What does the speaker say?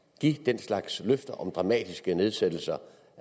give den slags løfter om dramatiske nedsættelser